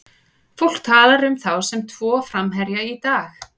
Fólk talar um þá sem tvo framherja í dag.